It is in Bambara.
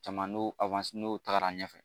Caman n'o n'o tagara ɲɛfɛ